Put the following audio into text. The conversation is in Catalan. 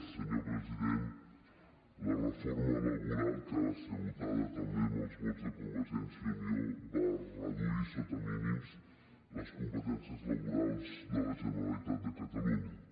senyor president la reforma laboral que va ser votada també amb els vots de convergència i unió va reduir sota mínims les competències laborals de la generalitat de catalunya